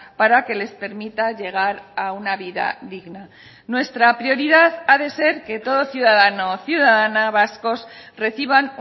para que les permita llegar a una vida digna nuestra prioridad ha de ser que todo ciudadano o ciudadana vascos reciban